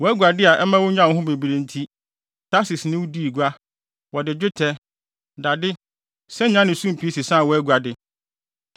“ ‘Wʼaguade a ɛma wonyaa wo ho bebree nti, Tarsis ne wo dii gua, wɔde dwetɛ, dade, sanyaa ne sumpii sesaa wʼaguade.